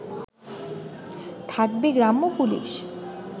থাকবে গ্রাম্য পুলিশ